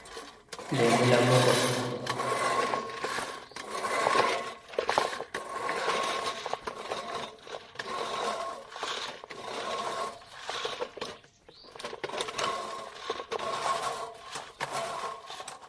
Leemu lammo kon.